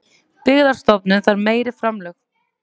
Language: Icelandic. Byggðastofnun þarf meiri framlög